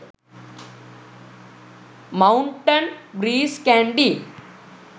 mountain breeze kandy